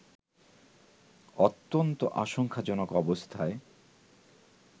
অত্যন্ত আশঙ্কাজনক অবস্থায়